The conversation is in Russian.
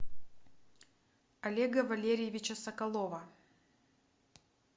олега валерьевича соколова